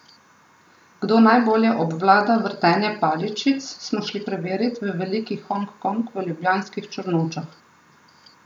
Kdo najbolje obvlada vrtenje paličic, smo šli preverit v Veliki Hong Kong v ljubljanskih Črnučah.